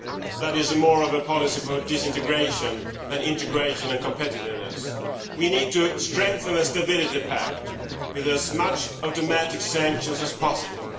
That is more of a policy for disintegration than integration and competitiveness. We need to strengthen the Stability Pact with as many automatic sanctions as possible.